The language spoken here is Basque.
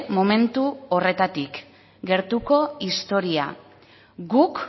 momentu horretatik gertuko historia guk